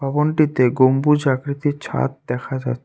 ভবনটিতে গম্বুজ আকৃতির ছাদ দেখা যা--